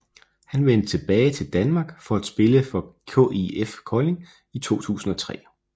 Han vendte tilbage til danmark for at spille for KIF Kolding i 2003